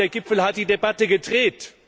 In der Tat Der Gipfel hat die Debatte gedreht.